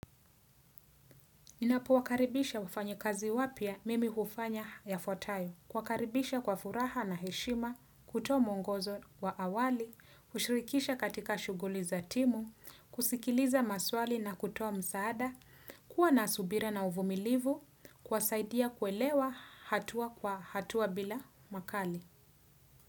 Ninapo wakaribisha wafanyikazi wapya mimi hufanya yafutayo. Kuwakaribisha kwa furaha na heshima, kutoa mwongozo wa awali, kushirikisha katika shuguli za timu, kusikiliza maswali na kutoa msaada, kuwa nasubira na uvumilivu, kuwasaidia kwelewa hatua kwa hatua bila makali.